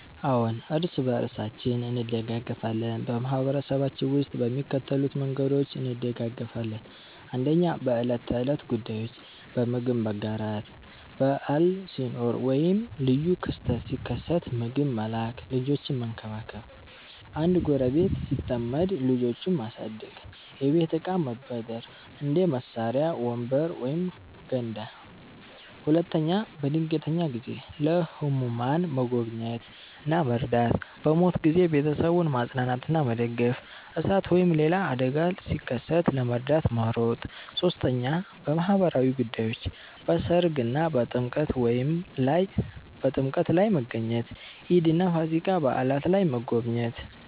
አዎን፣ እርስ በርሳችን እንደጋገፋለን በማህበረሰባችን ውስጥ በሚከተሉት መንገዶች እንደጋገፋለን፦ 1. በዕለት ተዕለት ጉዳዮች · በምግብ መጋራት – በዓል ሲኖር ወይም ልዩ ክስተት ሲከሰት ምግብ መላክ · ልጆችን መንከባከብ – አንድ ጎረቤት ሲጠመድ ልጆቹን ማሳደግ · የቤት እቃ መበደር – እንደ መሳሪያ፣ ወንበር ወይም ገንዳ 2. በድንገተኛ ጊዜ · ለህሙማን መጎብኘት እና መርዳት · በሞት ጊዜ ቤተሰቡን ማጽናናትና መደገፍ · እሳት ወይም ሌላ አደጋ ሲከሰት ለመርዳት መሮጥ 3. በማህበራዊ ጉዳዮች · በሠርግ እና በጥምቀት ላይ መገኘት · ኢድ እና ፋሲካ በዓላት ላይ መጎብኘት